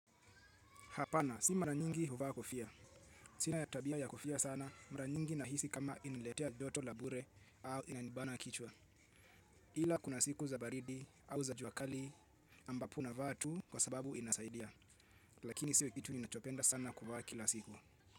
Hapana, si mara nyingi huvaa kofia. Sina tabia ya kofia sana, mara nyingi nahisi kama inaniletea joto la bure au inanibana kichwa. Ila kuna siku za baridi au za jua kali ambapo unavaa tu kwa sababu inasaidia. Lakini siyo kitu ninachopenda sana kuvaa kila siku.